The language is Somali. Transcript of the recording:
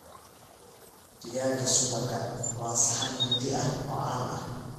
Digaagga subagga waa saxan Hindi ah oo caan ah.